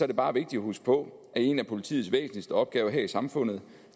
det bare vigtigt at huske på at en af politiets væsentligste opgaver her i samfundet